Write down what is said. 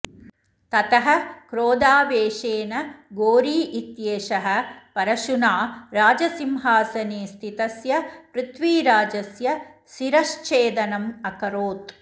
ततः क्रोधावेशेन घोरी इत्येषः परशुना राजसिंहासने स्थितस्य पृथ्वीराजस्य शिरश्छेदनम् अकरोत्